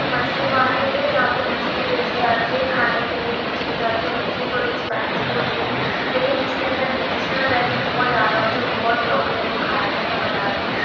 एक मछली मार्केट है। जहां पर मछली बेची जाती है खाने के लिए यूज की जाती है। मछली थोड़ी एक्सपेंसिव होती है लेकिन इसके अंदर न्यूट्रीशनल वैल्यू बहुत ज़्यादा होती है बहुत लोग है वो खाते है बनाते हैं।